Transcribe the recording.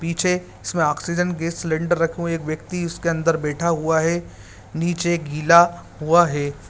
पीछे इसमें oxygen gas cylinder रखा है एक व्यक्ति इसके अंदर बैठा हुआ है नीचे गिला हुआ है।